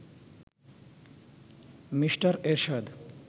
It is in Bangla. মিস্টার এরশাদ